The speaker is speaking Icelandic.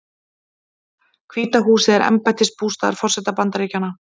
Hvíta húsið er embættisbústaður forseta Bandaríkjanna.